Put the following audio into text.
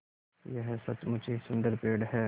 यह सचमुच ही सुन्दर पेड़ है